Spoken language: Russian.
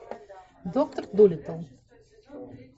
доктор дулиттл